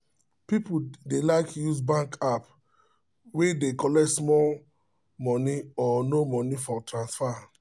people dey like use bank app wey dey collect small money or no money for transfer